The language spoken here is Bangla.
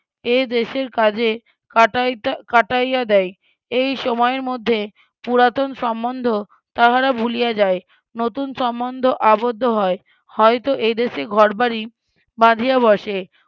এইদেশের কাজে ~ কাটাইয়া দেয় এই সময়ের মধ্যে পুরাতন সম্বন্ধ তাহারা ভুলিয়া যায় নতুন সম্বন্ধ আবদ্ধ হয় হয়ত এইদেশে ঘরবাড়ি বাধিয়া বসে